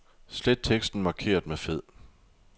Slet teksten markeret med fed.